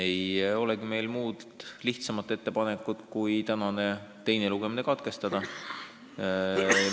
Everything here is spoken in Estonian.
Sellest tulenevalt ei olegi meil muud lihtsamat ettepanekut kui tänane teine lugemine katkestada.